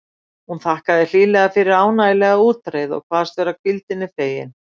Hún þakkaði hlýlega fyrir ánægjulega útreið og kvaðst vera hvíldinni fegin.